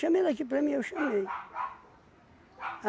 ele aqui para mim, eu chamei.